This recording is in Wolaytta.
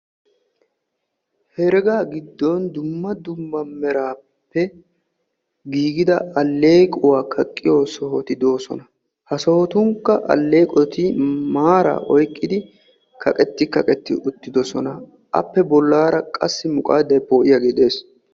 herega gidoni dumma dumma merappe giigida aleequwaa kaaqiyoo sohotti de'oosona. ha sohotunikka aleeqoti maarara kaqeti kaqeti uttidossona appe bollara qassi muqaaday po"iyage de"eesi.